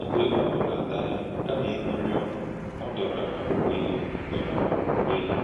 Mgbe ọ hùrù àdà ya, kàmá íṅụ̀rị́ ọṅụ́, ọ dòràrà ùwè ya. dòràrà ùwè ya.